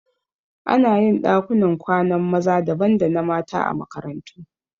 Anayin ɗakunan kwanan maza daban da na mata a makarantu